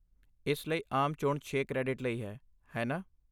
ਇਸ ਲਈ ਆਮ ਚੋਣ ਛੇ ਕ੍ਰੈਡਿਟ ਲਈ ਹੈ, ਹੈ ਨਾ?